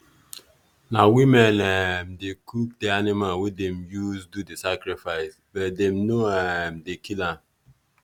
na women um dey cook the animal wey dem use do the sacrifice but dem dem no um dey kill am